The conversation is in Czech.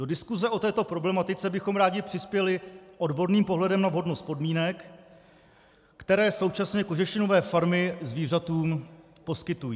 Do diskuse o této problematice bychom rádi přispěli odborným pohledem na vhodnost podmínek, které současně kožešinové farmy zvířatům poskytují.